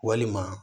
Walima